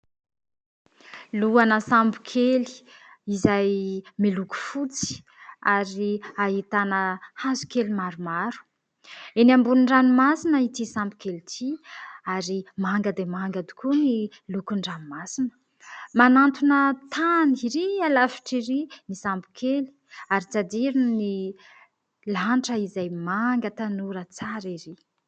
Lohana sambo kely izay miloko fotsy, ary hahitana hazo kely maromaro eny ambonin'ny ranomasina ity sambo kely ity. Ary manga dia manga tokoa ny lokon-dranomasina, manantona tany ery lavitra ery : ny sambo kely. Ary tsy hadino, ny lanitra izay manga tanora tsara ery.